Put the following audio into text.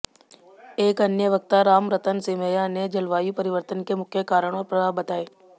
एक अन्य वक्ता रामरतन सिमैया ने जलवायु परिवर्तन के मुख्य कारण और प्रभाव बताए